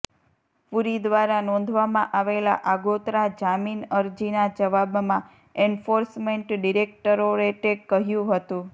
પુરી દ્વારા નોંધવામાં આવેલા આગોતરા જામીન અરજીના જવાબમાં એન્ફોર્સમેન્ટ ડિરેક્ટોરેટે કહ્યુ હતુ